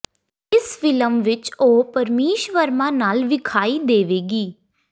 ਇਸ ਫ਼ਿਲਮ ਵਿੱਚ ਉਹ ਪਰਮੀਸ਼ ਵਰਮਾ ਨਾਲ ਵਿਖਾਈ ਦੇਵੇਗੀ